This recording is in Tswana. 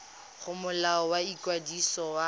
go molao wa ikwadiso wa